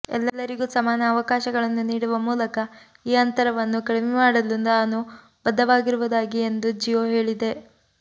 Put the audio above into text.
ಎಲ್ಲರಿಗೂ ಸಮಾನ ಅವಕಾಶಗಳನ್ನು ನೀಡುವ ಮೂಲಕ ಈ ಅಂತರವನ್ನು ಕಡಿಮೆಮಾಡಲು ತಾನು ಬದ್ಧವಾಗಿರುವುದಾಗಿ ಎಂದು ಜಿಯೋ ಹೇಳಿದೆ